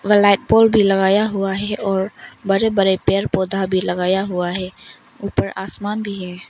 Black pole भी लगाया हुआ है और बड़े बड़े पेड़ पौधा भी लगाया हुआ है ऊपर आसमान भी है।